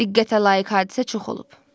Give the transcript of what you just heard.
Diqqətə layiq hadisə çox olub.